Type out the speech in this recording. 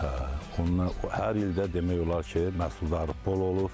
Hə, onlar hər ildə demək olar ki, məhsuldarlıq bol olur.